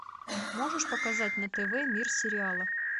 можешь показать на тв мир сериала